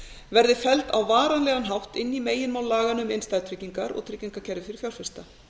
verði felld á varanlegan hátt inn í meginmál laganna um innstæðutryggingar og tryggingakerfi fyrir fjárfesta